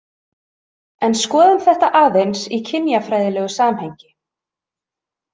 En skoðum þetta aðeins í kynjafræðilegu samhengi.